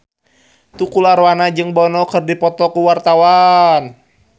Tukul Arwana jeung Bono keur dipoto ku wartawan